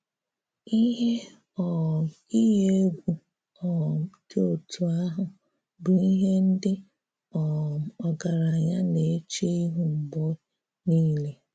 Ihè um iyi egwu um dị otú ahụ bụ ihè ndị̀ um ọgaranya na-echè ihu mgbè nilè.